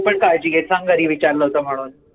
तू पण काळजी घे सांग घरी विचारलं होत म्हणून